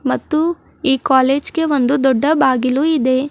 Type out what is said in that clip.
ಮತ್ತು ಈ ಕಾಲೇಜ್ ಗೆ ಒಂದು ದೊಡ್ಡ ಬಾಗಿಲು ಇದೆ.